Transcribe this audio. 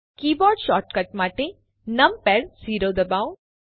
keyboard shortcut માટે numpad 0 દબાવો